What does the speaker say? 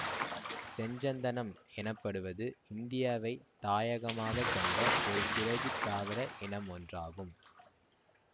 செஞ்சந்தனம் எனப்படுவது இந்தியாவைத் தாயகமாக கொண்ட ஒருசிறகித் தாவர இனமொன்றாகும்